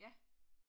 Ja